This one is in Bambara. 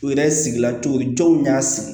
U yɛrɛ sigilan cogo jɔnw y'a sigi